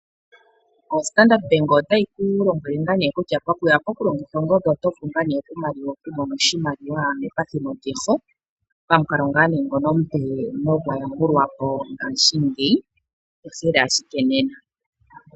Ombaanga yoStandard ota yi ku lombwele ngaa nee kutya pokuya pokulongitha ongodhi oto vulu ngaa nee okumona oshimaliwa mepathimo lyeho, pamuka ngono omupe nogwayambulwa po ngashingeyi, tsikila ashike nena.